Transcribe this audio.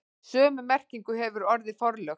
Sömu merkingu hefur orðið forlög.